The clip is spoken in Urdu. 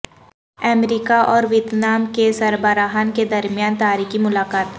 امریکہ اور ویتنام کے سربراہان کے درمیان تاریخی ملاقات